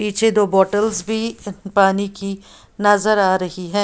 पीछे दो बॉटल्स भी पानी की नजर आ रही है।